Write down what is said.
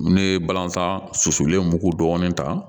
N bɛ balantan susolen mugu dɔɔni ta